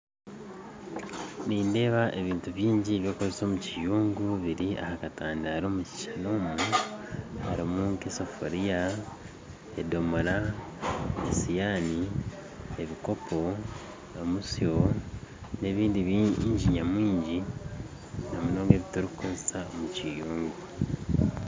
Nindeeba ebintu bingi by'okukoresa omu kiyungu biri aha katandaaro omu harimu nka esafuuriya, edoomoora, esiyaani, ebikoopo omutsyo n'ebindi baingi nyamwingi namunonga ebiturikukoresa omu kiyungu